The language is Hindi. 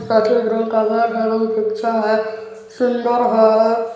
कटिंग रूम हउ पिक्चर है सुंदर हैं ।